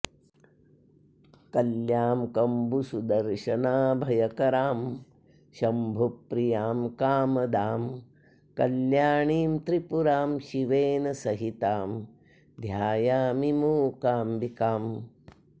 कल्यां कम्बुसुदर्शनाऽभयकरां शम्भुप्रियां कामदां कल्याणीं त्रिपुरां शिवेन सहितां ध्यायामि मूकाम्बिकाम्